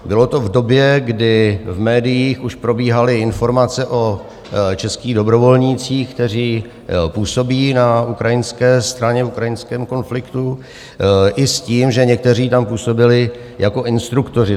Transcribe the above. Bylo to v době, kdy v médiích už probíhaly informace o českých dobrovolnících, kteří působí na ukrajinské straně v ukrajinském konfliktu, i s tím, že někteří tam působili jako instruktoři.